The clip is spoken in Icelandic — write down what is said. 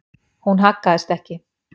Hún haggaðist ekki.